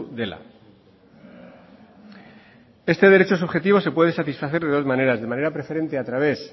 dela este derecho subjetivo se puede satisfacer de dos maneras de manera preferentes a través